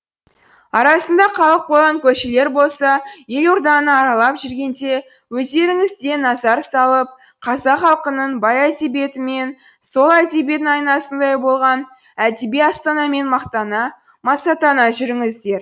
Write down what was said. арасында қалып қойған көшелер болса елорданы аралап жүргенде өздеріңіз де назар салып қазақ халқының бай әдебиетімен сол әдебиетінің айнасындай болған әдеби астанамен мақтана масаттана жүріңіздер